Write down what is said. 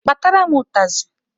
Kpatara m ụtazị!